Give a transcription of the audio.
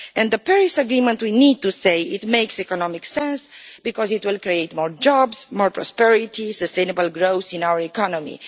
The Paris Agreement, we need to say, makes economic sense, because it will create more jobs, more prosperity and sustainable growth in our economy.